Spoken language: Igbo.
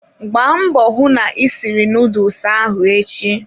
Gbaa mbọ hụ na ị siri nuduls ahụ echi!